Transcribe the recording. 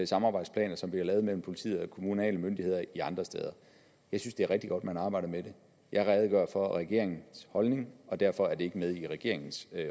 samarbejdsplaner som bliver lavet mellem politiet og kommunale myndigheder andre steder jeg synes det er rigtig godt man arbejder med det jeg redegør for regeringens holdning og derfor er det ikke med i regeringens